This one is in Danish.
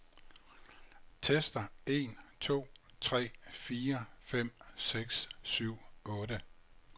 Tester en to tre fire fem seks syv otte.